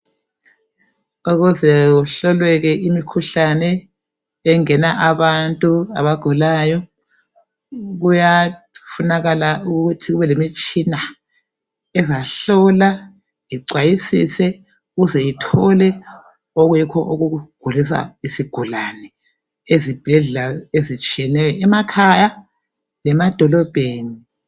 Ukuze kuhloleke imikhuhlane abantu abagulayo kuyafunakala ukuthi kube lemitshina ezahlola ixhwayisise ukuze ithole okuyikho okugulisa izigulani emakhaya lasemadolobheni